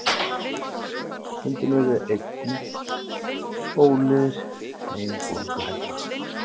Stundum urðu enni og úlnliðir ein bólguhella.